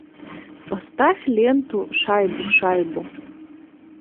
поставь ленту шайбу шайбу